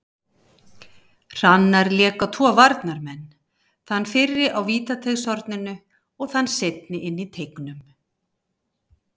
Hrannar lék á tvo varnarmenn, þann fyrri á vítateigshorninu og þann seinni inn í teignum.